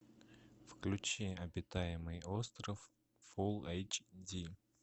включи обитаемый остров фул эйч ди